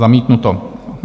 Zamítnuto.